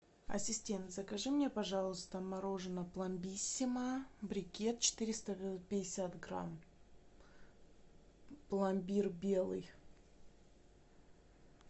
ассистент закажи мне пожалуйста мороженое пломбиссимо брикет четыреста пятьдесят грамм пломбир белый